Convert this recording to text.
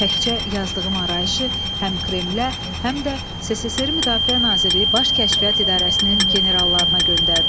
Təkcə yazdığım arayışı həm Kremlə, həm də SSRİ Müdafiə Nazirliyi Baş Kəşfiyyat İdarəsinin generallarına göndərdim.